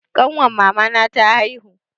Ƙanwar mamana ta haihu.